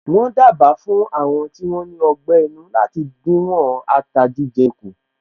Wọ́n dábàá fún Àwọn tí wón ní ọgbé inú láti díwọ̀n ata jíjẹ kù